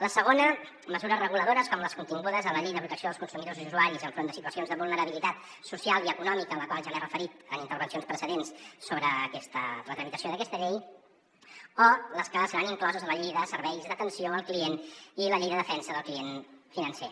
la segona mesures reguladores com les contingudes en la llei de protecció dels consumidors i usuaris enfront de situacions de vulnerabilitat social i econòmica a la qual ja m’he referit en intervencions precedents sobre la tramitació d’aquesta llei o les que seran incloses a la llei de serveis d’atenció al client i la llei de defensa del client financer